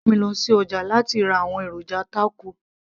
ìyá mi rán mi lọ sí ọjà láti ra àwọn èròjà tákò